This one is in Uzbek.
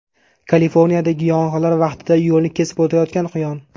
Kaliforniyadagi yong‘inlar vaqtida yo‘lni kesib o‘tayotgan quyon.